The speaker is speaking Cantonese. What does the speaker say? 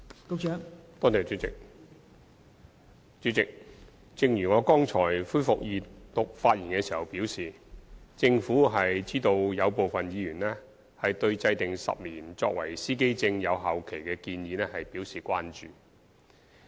代理主席，正如我剛才就恢復二讀辯論發言時表示，政府知道有部分議員對制訂10年司機證有效期的建議表示關注。